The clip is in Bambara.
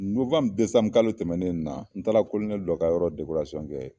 kalo tɛmɛnen nin na, n taara dɔ ka yɔrɔ kɛ,